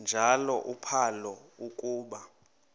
njalo uphalo akuba